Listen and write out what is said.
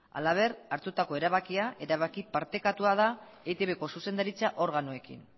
halaber hartutako erabakia erabaki partekatua da eitbko zuzendaritza organoekin